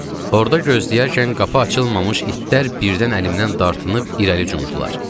Orda gözləyərkən qapı açılmamış itlər birdən əlimdən dartınıb irəli cumdular.